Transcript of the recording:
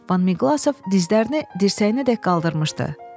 Van Miqlaqov dizlərini dirsəyinədək qaldırmışdı.